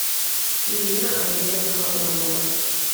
ирина олеговна абрамова